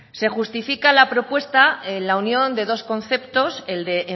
se justifica la propuesta en la unión de dos conceptos el de